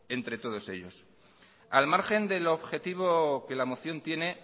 entre todos ellos al margen del objetivo que la moción tiene